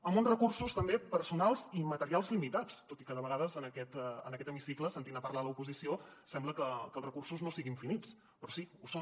amb uns recursos també personals i materials limitats tot i que de vegades en aquest hemicicle sentint a parlar l’oposició sembla que els recursos no siguin finits però sí ho són